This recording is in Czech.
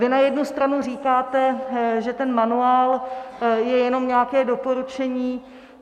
Vy na jednu stranu říkáte, že ten manuál je jenom nějaké doporučení.